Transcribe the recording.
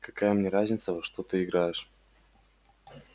какая мне разница во что ты играешь